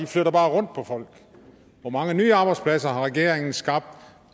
flytter bare rundt på folk hvor mange nye arbejdspladser har regeringen skabt